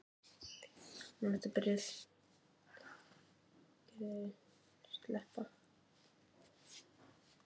Írar eru með.